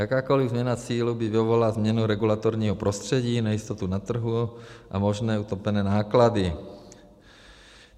Jakákoli změna cílů by vyvolala změnu regulatorního prostředí, nejistotu na trhu a možné utopené náklady.